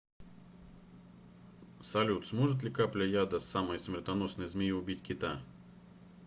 салют сможет ли капля яда самой смертоносной змеи убить кита